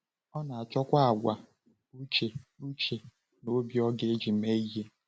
Ọ na-achọkwa àgwà uche uche na obi ọ ga-eji mee ihe.